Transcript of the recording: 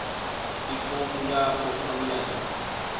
ifomu lakho online